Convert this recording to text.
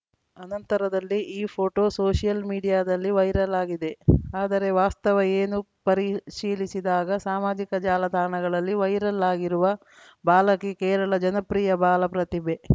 ಅನಂತರದಲ್ಲಿ ಈ photo social ಮೀಡಿಯಾದಲ್ಲಿ ವೈರಲ್‌ ಆಗಿದೆ ಆದರೆ ವಾಸ್ತವ ಏನು ಪರಿಶೀಲಿಸಿದಾಗ ಸಾಮಾಜಿಕ ಜಾಲತಾಣಗಳಲ್ಲಿ ವೈರಲ್‌ ಆಗಿರುವ ಬಾಲಕಿ ಕೇರಳ ಜನಪ್ರಿಯ ಬಾಲ ಪ್ರತಿಭೆ